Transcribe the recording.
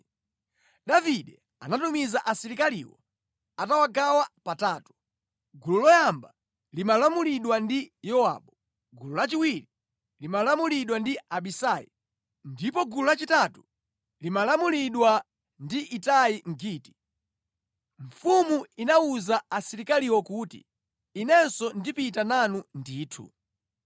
Davide anatumiza asilikaliwo atawagawa patatu: gulu loyamba limalamulidwa ndi Yowabu, gulu lachiwiri limalamulidwa ndi Abisai ndipo gulu lachitatu limalamulidwa ndi Itai Mgiti. Mfumu inawuza asilikaliwo kuti, “Inenso ndipita nanu ndithu.”